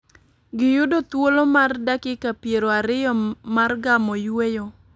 Giyudo thuolo mar dakika piero ariyo mar gamo yueyo .